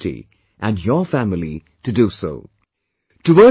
Inspire the society and your family to do so